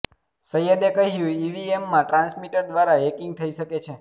સૈયદે કહ્યું કે ઇવીએમમાં ટ્રાન્સમીટર દ્વારા હેકીંગ થઇ શકે છે